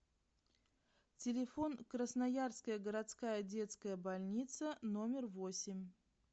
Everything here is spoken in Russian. телефон красноярская городская детская больница номер восемь